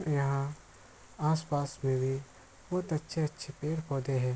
यहाँ आस-पास में भी बहोत अच्छे-अच्छे पेड़-पौधे हैं।